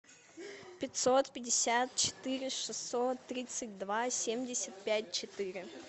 пятьсот пятьдесят четыре шестьсот тридцать два семьдесят пять четыре